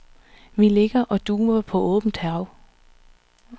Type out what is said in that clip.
Vi ligger og duver på åbent hav.